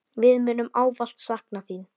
Við munum ávallt sakna þín.